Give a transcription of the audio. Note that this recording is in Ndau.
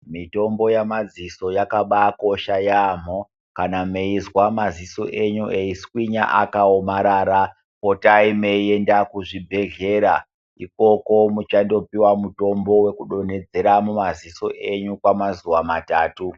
Mitombo yemaziso yakabakosha yambo kana meizwa maziso enyu eiswinya zvakaomarara potai meienda kuzvibhedhlera ikoko muchandopuwa mitombo kudonhedzera mumaziso enyu kwemazuva matatu.